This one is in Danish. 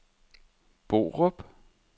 Borup